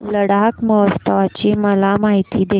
लडाख महोत्सवाची मला माहिती दे